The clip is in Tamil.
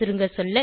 சுருங்க சொல்ல